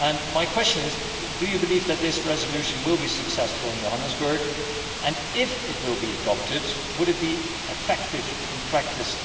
My question is to ask whether you believe that this resolution will be successful in Johannesburg and, if it were adopted, would it also be effective in practice?